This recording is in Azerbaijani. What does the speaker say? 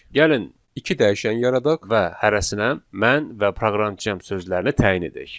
Gəlin iki dəyişən yaradaq və hərəsinə mən və proqramçıyam sözlərini təyin edək.